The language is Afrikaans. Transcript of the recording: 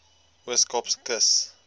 oos kaapse kus